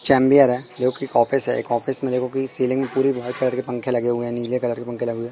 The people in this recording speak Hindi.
चेंबर है जो कि एक ऑफिस है एक ऑफिस में देखो कि सीलिंग पूरी व्हाईट कलर के पंखे लगे हुए हैं नीले कलर के पंखे लगे हुए--